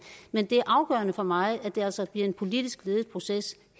men det er afgørende for mig at det altså bliver en politisk ledet proces